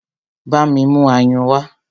Bámi mú ayùn wá!